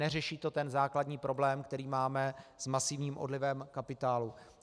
Neřeší to ten základní problém, který máme s masivním odlivem kapitálu.